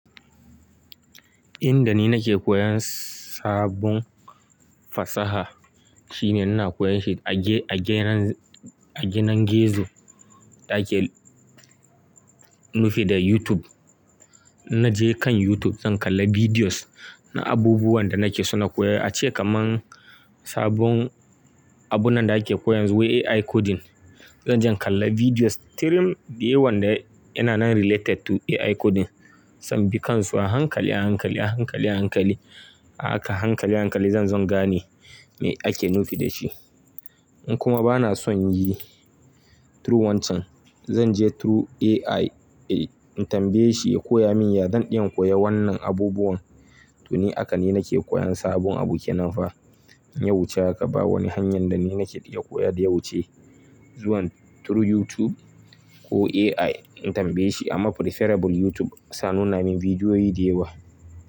Inda ni nake koyan sabon fasaha shine ina koyan shi a ge-a genan-a genan gizo da ake nufi da YouTube. Na je kan YouTube zan kalla videos na abubuwan da nake so na koya. Ace kamar sabon abun nan da ake koya yanzu wai AI coding. Zanje in kalla videos, tirim dukan wanda yana nan related to AI coding. Zan bi kansu a hankali, a hankali, a hankali, a hankali, a haka hankali, hankali zanzo in gane me ake nufi da shi. Kuma bana son yi through wancan. Zanje through AI in tambaye shi ya koya min, ya zan in koya wannan abubuwan. To, ni haka ne nake koyan sabon abu ke nan fa. Ya wuce haka ba wani hanyar da nake iya koya da ya wuce. Zuwan through YouTube ko AI in tambaye shi amma preferable YouTube sai a nuna min bidiyoyi dayawa.